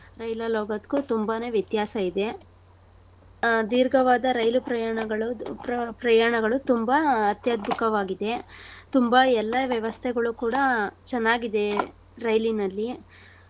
ರೈಲಲ್ ಹೋಗೋದ್ಕು ತುಂಬಾನೇ ವ್ಯತ್ಯಾಸ ಇದೆ. ಆ ಧೀರ್ಘವಾದ ರೈಲು ಪ್ರಯಾಣಗಳು ಉಪ್ರಾ ಪ್ರಯಾಣಗಳು ತುಂಬಾ ಅತ್ಯಧ್ಬುತವಾಗಿದೆ . ತುಂಬಾ ಎಲ್ಲಾ ವ್ಯವಸ್ಥೆಗಳು ಕೂಡಾ ಚನ್ನಾಗಿದೆ ರೈಲಿನಲ್ಲಿ.